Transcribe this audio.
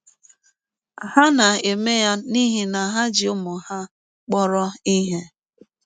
Ha na - eme ya n’ihi na ha ji ụmụ ha kpọrọ ihe.